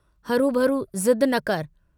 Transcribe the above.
हरूभरू जिद्द न कर।